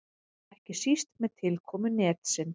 Ekki síst með tilkomu netsins.